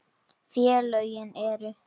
Félögin eru